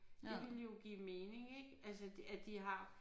Det ville jo give mening ik altså at de har